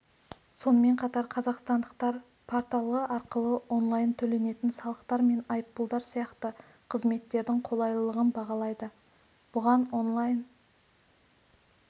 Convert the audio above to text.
сонымен қатар қазақстандықтар порталы арқылы онлайн төленетін салықтар мен айыппұлдар сияқты қызметтердің қолайлылын бағалайды бұған онлайн